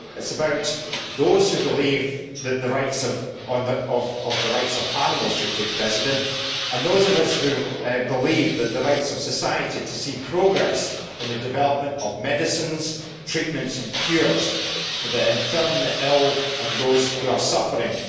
It is about those who believe that the rights of animals should take precedence and those of us who believe in the rights of society to see progress in the development of medicines, treatments and cures for the infirm, the ill and those who are suffering.